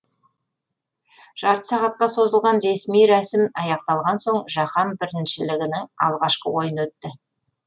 жарты сағатқа созылған ресми рәсім аяқталған соң жаһан біріншілігінің алғашқы ойыны өтті